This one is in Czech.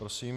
Prosím.